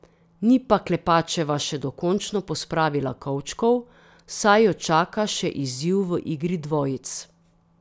Ni pa Klepačeva še dokončno pospravila kovčkov, saj jo čaka še izziv v igri dvojic.